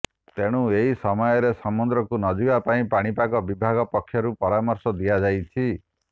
ତେଣୁ ଏହି ସମୟରେ ସମୁଦ୍ରକୁ ନଯିବା ପାଇଁ ପାଣିପାଗ ବିଭାଗ ପକ୍ଷରୁ ପରାମର୍ଶ ଦିଆଯାଇଛି